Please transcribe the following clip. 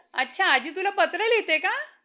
अच्छा आज्जी तुला पत्र लिहिते का?